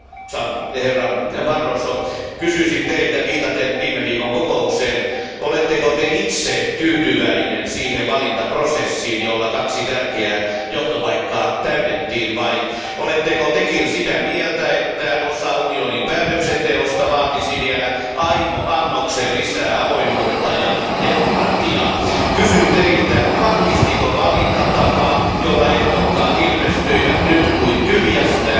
Arvoisa puhemies, arvoisa komission jäsen, kysyisin teiltä viitaten viime viikon kokoukseen, oletteko te itse tyytyväinen siihen valintaprosessiin, jolla kaksi tärkeää johtopaikkaa täytettiin, vai oletteko tekin sitä mieltä, että osa unionin päätöksenteosta vaatisi vielä aimo annoksen lisää avoimuutta ja demokratiaa? Kysyn teiltä, vahvistiko valintatapa, jolla ehdokkaat ilmestyivät nyt kuin tyhjästä,